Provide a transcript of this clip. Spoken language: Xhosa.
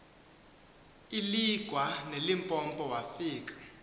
iligwa nelimpopo wafika